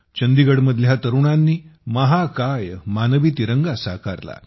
चंदीगडमधल्या तरुणाईनी महाकाय मानवी तिरंगा साकारला